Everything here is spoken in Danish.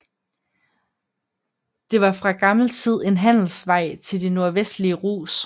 Det var fra gammel tid en handelsvaj til de norvestlige Rus